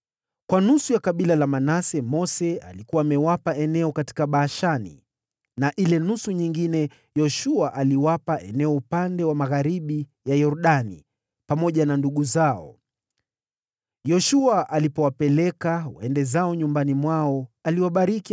(Kwa nusu ya kabila la Manase Mose alikuwa amewapa eneo katika Bashani na ile nusu nyingine ya hilo kabila Yoshua aliwapa eneo upande wa magharibi ya Yordani pamoja na ndugu zao). Yoshua alipowaaga waende zao nyumbani, aliwabariki,